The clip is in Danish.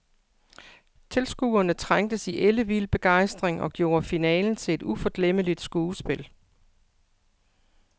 Tilskuerne trængtes i ellevild begejstring og gjorde finalen til et uforglemmeligt skuespil.